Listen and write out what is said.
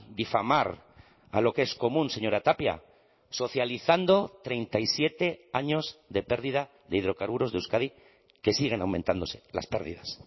difamar a lo que es común señora tapia socializando treinta y siete años de pérdida de hidrocarburos de euskadi que siguen aumentándose las pérdidas